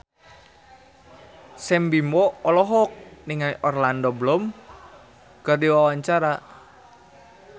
Sam Bimbo olohok ningali Orlando Bloom keur diwawancara